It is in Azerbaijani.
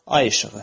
Ay işığı.